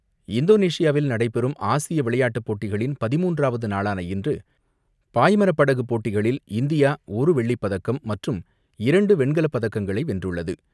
இந்தோனேஷியாவில் நடைபெறும் ஆசிய விளையாட்டு போட்டிகளின் பதிமூன்றாவது நாளான இன்று பாய்மர படகு போட்டிகளில் இந்தியா ஒரு வெள்ளி பதக்கம், மற்றும் இரண்டு வெண்கலப் பதக்கங்களை வென்றுள்ளது.